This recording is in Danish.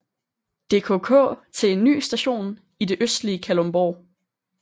DKK til en ny station i det østlige Kalundborg